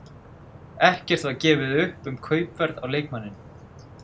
Ekkert var gefið upp um kaupverð á leikmanninum.